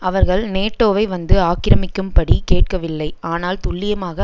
அவர்கள் நேட்டோவை வந்து ஆக்கிரமிக்கும்படி கேட்கவில்லை ஆனால் துல்லியமாக